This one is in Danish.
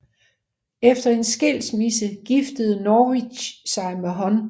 Efter en skilmisse giftede Norwich sig med Hon